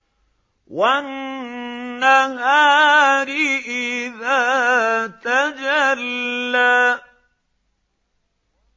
وَالنَّهَارِ إِذَا تَجَلَّىٰ